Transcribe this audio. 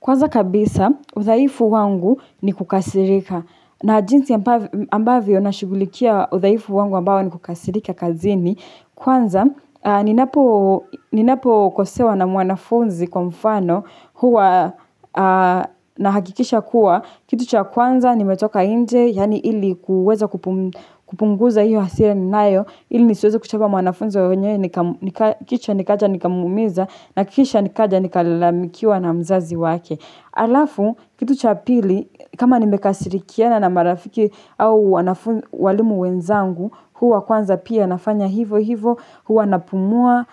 Kwanza kabisa, udhaifu wangu ni kukasirika. Na jinsi ambavyo nashughulikia udhaifu wangu ambao ni kukasirika kazini. Kwanza, ninapokosewa na mwanafunzi kwa mfano huwa nahakikisha kuwa. Kitu cha kwanza, nimetoka nje, yaani ili kuweza kupunguza hiyo hasira ninayo. Ili nisiweze kuchapa mwanafunzi wa wenyewe, kisha nikaja nikamwumiza, na kisha nikaja nikalamikiwa na mzazi wake. Alafu, kitu cha pili, kama nimekasirikiana na marafiki au wanafunzi walimu wenzangu, huwa kwanza pia nafanya hivo hivo, huwa napumua,